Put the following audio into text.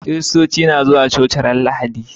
Kiristoci suna zuwa coci a ranar Lahadi.